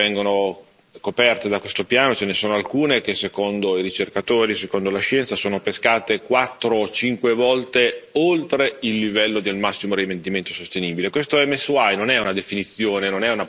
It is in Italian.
Ricordo che fra le specie che vengono coperte da questo piano, ce ne sono alcune che, secondo i ricercatori, secondo la scienza, sono pescate quattro o cinque volte oltre il livello del massimo rendimento sostenibile.